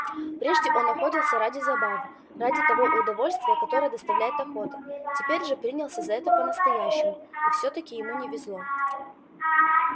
прежде он охотился ради забавы ради того удовольствия которое доставляет охота теперь же принялся за это по настоящему и все таки ему не везло